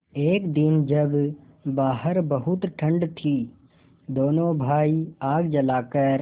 एक दिन जब बाहर बहुत ठंड थी दोनों भाई आग जलाकर